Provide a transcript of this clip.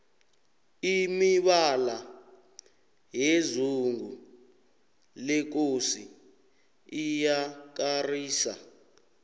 imibala yezungu lekosi iyakarisa